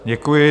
Děkuji.